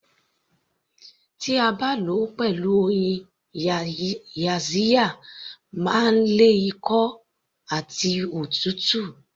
Tí a bá lò ó pẹ̀lú oyin yaxiya máa ń lé ikọ́ àti òtútù